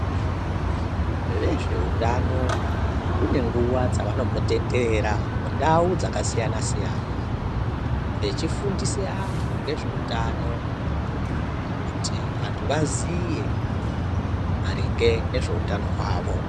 Vezveutano mune nguva dzavano mbotenderera mundau dzakasiyana siyana va hifundisa vantu nezveutano kuti vantu vaziye maringe nezveutano hwavo.